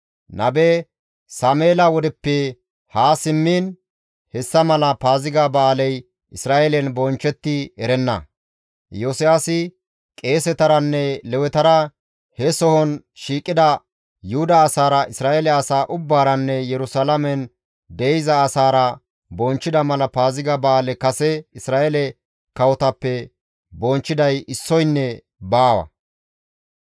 Nabe Sameela wodeppe haa simmiin hessa mala Paaziga ba7aaley Isra7eelen bonchchetti erenna. Iyosiyaasi, qeesetaranne Lewetara, he sohon shiiqida Yuhuda asaara, Isra7eele asaa ubbaaranne Yerusalaamen de7iza asaara bonchchida mala Paaziga ba7aale kase Isra7eele kawotappe bonchchiday issoynne baawa.